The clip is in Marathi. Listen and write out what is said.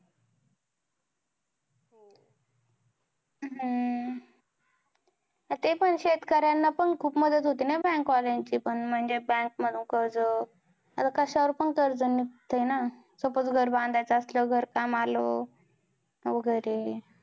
अह ते पण शेतकऱ्यांना पण खूप मदत होते ना bank वाल्यानाची पण म्हणजे bank मधून कर्ज आता कशावर पण कर्ज निघतय ना suppose घर बांधायचं असल्यावर घर काम आल वैगेरे